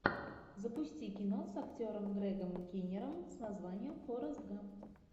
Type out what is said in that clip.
запусти кино с актером грегом киннером с названием форрест гамп